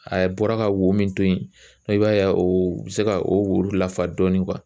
A bɔra ka wo min to yen, i b'a ye o bɛ se ka o wo lafa dɔɔni.